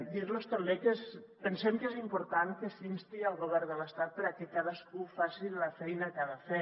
dir los també que pensem que és important que s’insti el govern de l’estat perquè cadascú faci la feina que ha de fer